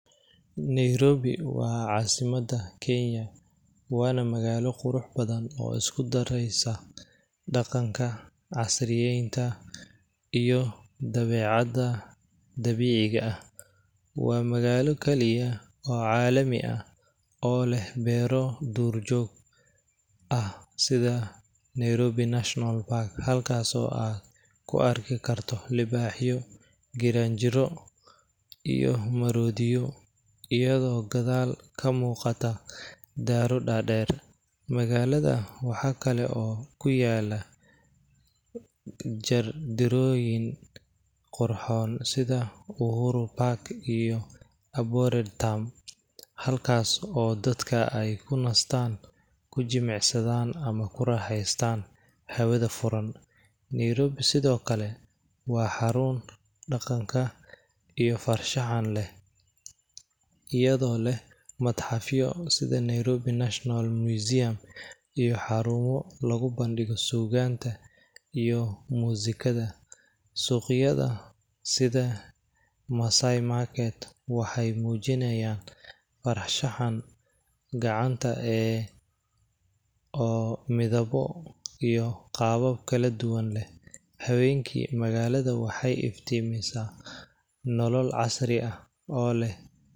Nairobi waa caasimada Kenya, waana magaalo qurux badan oo isku dareeysa daqanka, casriyeenta iyo dabeecada dabiiciga ah, waa magaalo kaliya oo caalami ah oo leh beero, duur joog ah sida Nairobi national park ,halkaas oo aad kuarki karto libaaxyo, giraanjiro, iyo maroodiyo iyado gadaal kamuuqata daaro dadeer, magaalada waxaa kale oo kuyaala, jeer dirooyin qurxoon sida uhuru garden iyo aborded town ,halkaas oo dadka aay kunastaan, kujimicsadaan ama aay ku raaxestaan hawada furan, Nairobi sido kale waa xaruun daqanka iyo farshaxan leh, iyado leh madxafyo sida Nairobi national museum iyo xaruumo lagu bandigo suuganta iyo musigada, suuqyada sida massai market waxeey mujinaayan farshaxan gacanta oo midabo iyo qaabab kala duban leh, habeenki magaalada waxeey iftiimisa nolol casri ah oo leh.